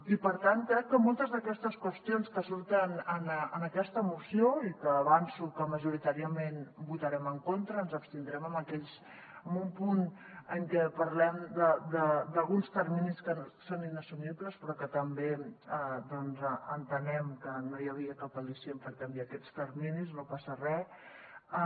i per tant crec que moltes d’aquestes qüestions que surten en aquesta moció i que avanço que majoritàriament votarem en contra ens abstindrem en un punt en què parlem d’alguns terminis que són inassumibles però també entenem que no hi havia cap al·licient per canviar aquests terminis no passa re